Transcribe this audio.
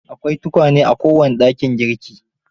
Akwai tukwane a kowane dakin girki.